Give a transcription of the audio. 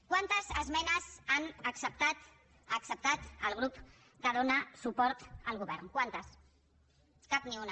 quantes esmenes ha acceptat el grup que dóna suport al govern quantes cap ni una